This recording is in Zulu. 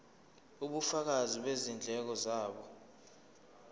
ubufakazi bezindleko zabo